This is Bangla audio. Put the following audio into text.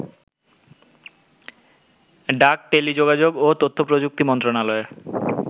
ডাক, টেলিযোগাযোগ ও তথ্যপ্রযুক্তি মন্ত্রণালয়ের